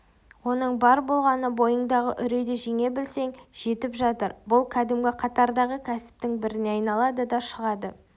оның бар болғаны бойыңдағы үрейді жеңе білсең жетіп жатыр бұл кәдімгі қатардағы кәсіптің біріне айналады да шығады